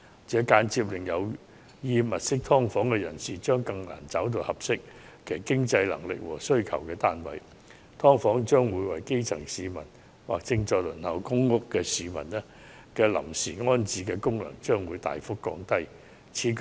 這間接令有意租住"劏房"的人士更難覓得符合其經濟能力和需要的單位，"劏房"為基層市民或正在輪候公屋的市民提供臨時安身之所的功能亦會大幅降低。